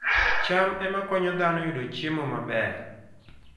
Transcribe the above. cham ema konyo dhano yudo chiemo maber